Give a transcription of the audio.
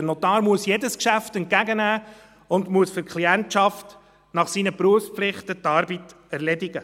Der Notar muss jedes Geschäft entgegennehmen und muss die Arbeit für seine Klientschaft nach seinen Berufspflichten erledigen.